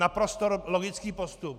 Naprosto logický postup.